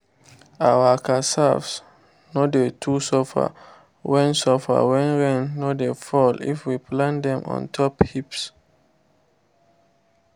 our cassave no dey too suffer when suffer when rain no dey fall if we plant dem on top heaps